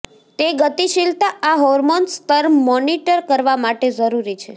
તે ગતિશીલતા આ હોર્મોન્સ સ્તર મોનીટર કરવા માટે જરૂરી છે